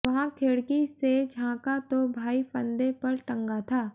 वहां खिड़की से झांका तो भाई फंदे पर टंगा था